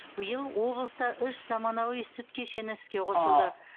биыл облыста үш заманауи сүт кешені іске қосылды